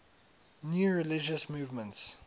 new religious movements